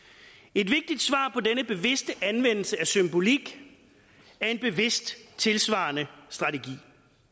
et vigtigt anvendelse af symbolik er en bevidst tilsvarende strategi